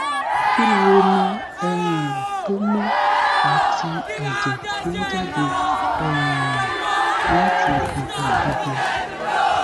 ki ni omi um tó mọ́ àti ẹ̀jẹ̀ tó ń jáde um láti ibi ìdodo